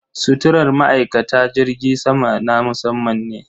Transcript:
Suturar ma'aikata jirgin sama na musamman ne.